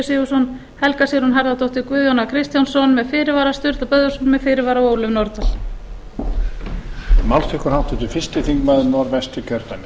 sigurðsson helga sigrún harðardóttir guðjón a kristjánsson með fyrirvara sturla böðvarsson með fyrirvara og ólöf nordal